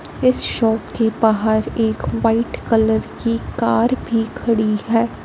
इस शॉप के बाहर एक व्हाइट कलर की कार भी खड़ी है।